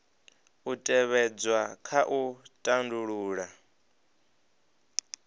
u tevhedzwa kha u tandulula